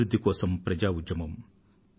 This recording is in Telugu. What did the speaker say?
అభివృధ్ధి కోసం ప్రజా ఉద్యమం